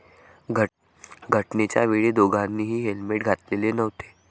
घटनेच्या वेळी दोघांनीही हेल्मेट घातलेले नव्हते.